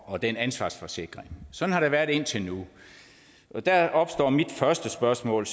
og den ansvarsforsikring sådan har det været indtil nu og der opstår mit første spørgsmål